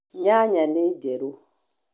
Nyanya nĩ njĩru.